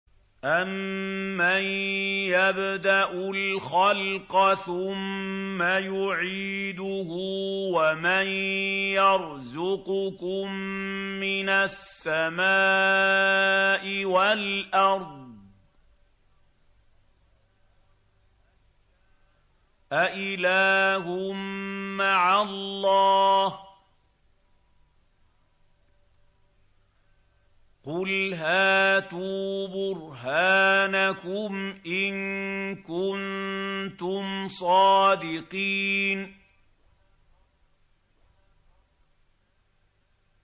أَمَّن يَبْدَأُ الْخَلْقَ ثُمَّ يُعِيدُهُ وَمَن يَرْزُقُكُم مِّنَ السَّمَاءِ وَالْأَرْضِ ۗ أَإِلَٰهٌ مَّعَ اللَّهِ ۚ قُلْ هَاتُوا بُرْهَانَكُمْ إِن كُنتُمْ صَادِقِينَ